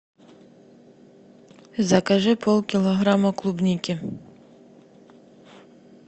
закажи полкилограмма клубники